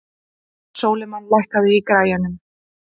Sólimann, lækkaðu í græjunum.